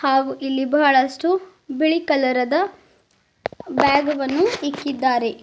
ನಾವು ಇಲ್ಲಿ ಬಹಳಷ್ಟು ಬಿಳಿ ಕಲರ ದ ಬ್ಯಾಗ್ ವನ್ನು ಇಟ್ಟಿದ್ದಾರೆ.